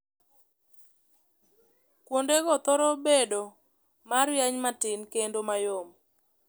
Kuondego thoro bedo ma rieny matin kendo mayom.